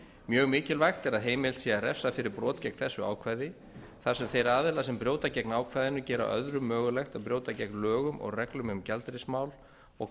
mjög mikilvægt er að heimilt sé að refsa fyrir brot gegn þessu ákvæði þar sem þeir aðilar sem brjóta gegn ákvæðinu gera öðrum mögulegt að brjóta gegn lögum og reglum um gjaldeyrismál og